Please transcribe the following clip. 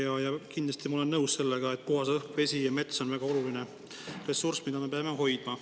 Ma olen kindlasti nõus sellega, et puhas õhk, vesi ja mets on väga oluline ressurss, mida me peame hoidma.